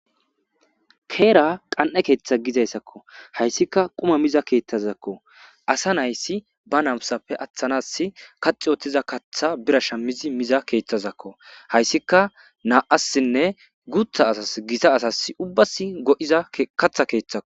Heera qan7e keeththa gizayssakko. hayssika quma miza keeththazakko. asa naysi ba namsappe aththanas kaxi utiza katha biran shamizi miza keeththazakko. hayssika naa7assinne guutha asas gita asas ubbas go7iza katha keeththako.